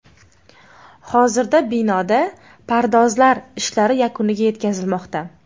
Hozirda binoda pardozlar ishlari yakuniga yetkazilmoqda.